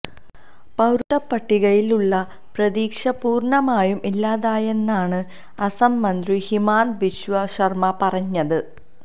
പൌരത്വപട്ടികയില് ഉള്ള പ്രതീക്ഷ പുര്ണമായും ഇല്ലാതായെന്നാണ് അസം മന്ത്രി ഹിമാന്ത ബിശ്വ സര്മ പറഞ്ഞത്